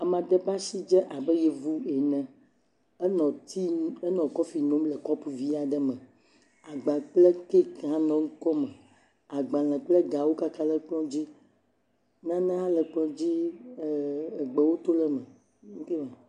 Ame aɖe ƒe asi dzé abe Yevu ene. Enɔ tii nom, enɔ kɔfi nom le kɔpo vi aɖe me. Agba kple keeki hã nɔ ekɔme. Agbalẽ kple gawo kaka ɖe kplɔ̃ dzi. Nane hã le kplɔ̃ dzi ɛɛ egbewo to ɖe eme.